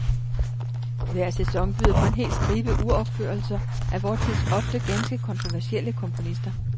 Hver sæson byder på en hel stribe uropførelser af vor tids ofte ganske kontroversielle komponister.